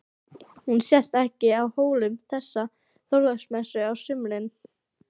Hún sést ekki á Hólum þessa Þorláksmessu á sumri.